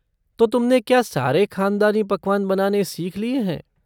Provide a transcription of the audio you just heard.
तो तुमने क्या सारे ख़ानदानी पकवान बनाने सीख लिए हैं?